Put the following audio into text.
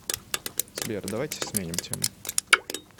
сбер давайте сменим тему